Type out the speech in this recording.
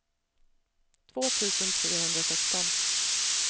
två tusen trehundrasexton